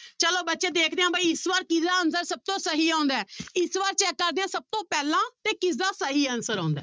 ਚਲੋ ਬੱਚੇ ਦੇਖਦੇ ਹਾਂ ਬਾਈ ਇਸ ਵਾਰ ਕਿਹਦਾ answer ਸਭ ਤੋਂ ਸਹੀ ਆਉਂਦਾ ਹੈ ਇਸ ਵਾਰ check ਕਰਦੇ ਹਾਂ ਸਭ ਤੋਂ ਪਹਿਲਾਂ ਤੇ ਕਿਸਦਾ ਸਹੀ answer ਆਉਂਦਾ ਹੈ।